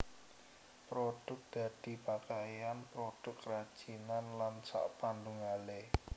Produk dadi pakaian produk kerajinan lan sakpanunggalé